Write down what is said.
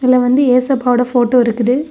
இதுல வந்து ஏசப்பாவோட போட்டோ இருக்குது.